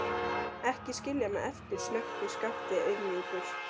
Ekki skilja mig eftir, snökti Skapti auðmjúkur.